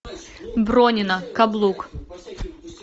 бронина каблук